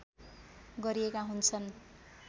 गरिएका हुन्छन्